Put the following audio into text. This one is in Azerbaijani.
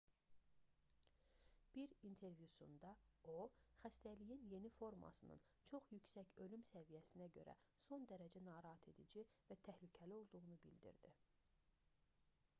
bir intervyusunda o xəstəliyin yeni formasının çox yüksək ölüm səviyyəsinə görə son dərəcə narahatedici və təhlükəli olduğunu bildirdi